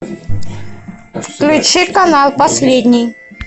включи канал последний